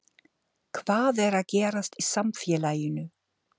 Hvað er að gerast í samfélaginu?